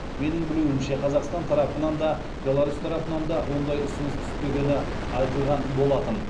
менің білуімше қазақстан тарапынан да беларусь тарапынан да ондай ұсыныс түспегені айтылған болатын